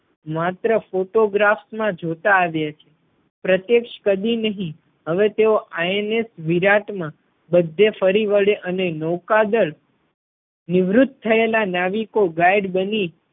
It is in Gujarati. માત્ર ફોટોગ્રાફ માં જોતાં આવ્યા છે પ્રત્યક્ષ કદી નહીં હવે તેઓ INS વિરાટ માં બધે ફરી વળે અને નૌકાદળ નિવૃત થયેલા નાવિકો guide બની